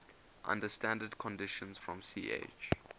under standard conditions from ch